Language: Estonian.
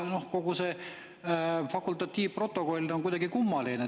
Kogu see fakultatiivprotokoll on kuidagi kummaline.